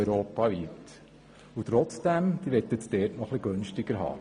Trotzdem wollen Sie das nun noch etwas günstiger haben.